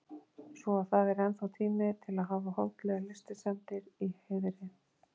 Svo að það er ennþá tími til að hafa holdlegar lystisemdir í heiðri.